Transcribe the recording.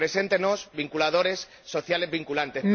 Preséntenos indicadores sociales vinculantes.